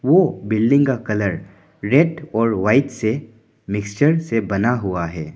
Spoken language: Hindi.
ओ बिल्डिंग का कलर रेड और व्हाइट से मिक्सर से बना हुआ है।